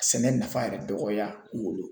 Sɛnɛ nafa yɛrɛ dɔgɔya u wolo.